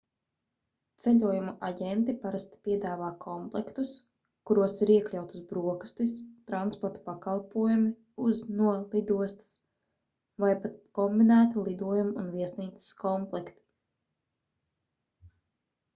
ceļojumu aģenti parasti piedāvā komplektus kuros ir iekļautas brokastis transporta pakalpojumi uz/no lidostas vai pat kombinēti lidojumu un viesnīcas komplekti